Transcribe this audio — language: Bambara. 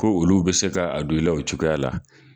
Ko olu bɛ se ka a don i la o cogoya la.